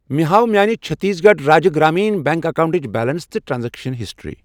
مےٚ ہاو میانہِ چٔھتیٖس گَڑھ راجیہ گرٛامیٖن بیٚنٛک اکیٚونٹٕچ بیلنس تہٕ ٹرانزیکشن ہسٹری۔